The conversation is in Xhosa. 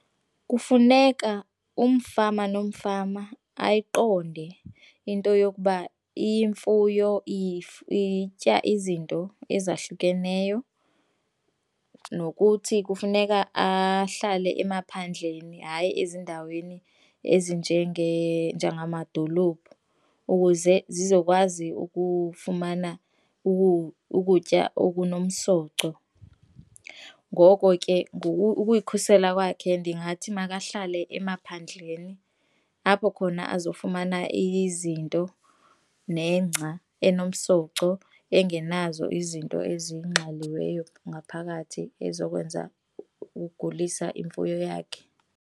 Kufuneka umfama nomfama ayiqonde into yokuba imfuyo itya izinto ezahlukeneyo nokuthi kufuneka ahlale emaphandleni, hayi ezindaweni njengamadolophu ukuze zizokwazi ukufumana ukutya okunomsoco. Ngoko ke, ukuyikhusela kwakhe ndingathi makahlale emaphandleni apho khona azofumana izinto nengca enomsoco engenazo izinto ezingxaliweyo ngaphakathi ezokwenza ukugulisa imfuyo yakhe.